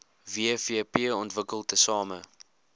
wvp ontwikkel tesame